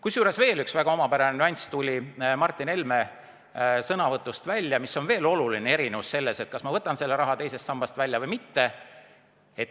Kusjuures veel üks väga omapärane nüanss tuli Martin Helme sõnavõtust välja, mis on veel oluline erinevus, kui ma võtan selle raha teisest sambast välja või ei.